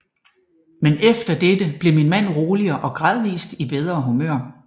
Men efter dette blev min mand roligere og gradvist i bedre humør